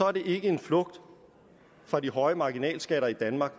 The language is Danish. er det ikke en flugt fra de høje marginalskatter i danmark